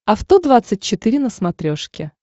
авто двадцать четыре на смотрешке